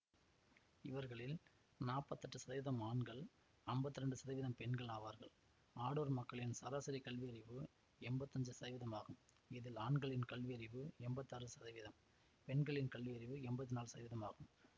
இவர்களில் நாப்பத்தெட்டு சதவீதம் ஆண்கள் அம்பத்தி இரண்டு சதவீதம் பெண்கள் ஆவார்கள் அடூர் மக்களின் சராசரி கல்வியறிவு எம்பத்தஞ்சு சதவீதம் ஆகும் இதில் ஆண்களின் கல்வியறிவு எம்பத்தாறு சதவீதம் பெண்களின் கல்வியறிவு எம்பத்தி நாலு சதவீதம் ஆகும்